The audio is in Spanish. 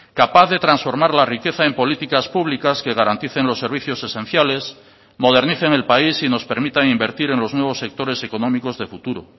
capaz de transformar la riqueza en políticas públicas que garanticen los servicios esenciales modernicen el país y nos permitan invertir en los nuevos sectores económicos de futuro